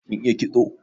Kin iya kitso?